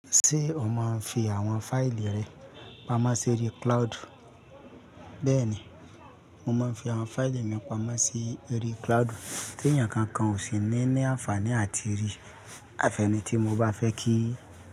Ṣé o máa ń fi àwọn fáìlì rẹ pamọ́ sí oju cloud? Bẹ́ẹ̀ni, mo máa ń fi àwọn fáìlì mi pamọ́ sí ori cloud, tí èeyàn kankan ò sì ní ní àǹfààní àti rí àfẹ́nì tí mo bá fẹ́ kí i.